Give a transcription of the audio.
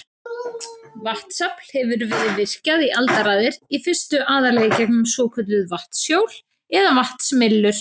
Vatnsafl hefur verið virkjað í aldaraðir, í fyrstu aðallega í gegnum svokölluð vatnshjól eða vatnsmyllur.